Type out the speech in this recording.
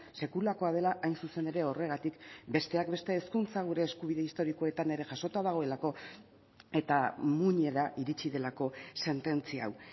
sekulakoa dela hain zuzen ere horregatik besteak beste hezkuntza gure eskubide historikoetan ere jasota dagoelako eta muinera iritsi delako sententzia hau